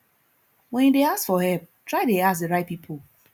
when you de ask for help try de ask the right pipo